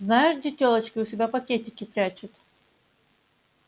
знаешь где тёлочки у себя пакетики прячут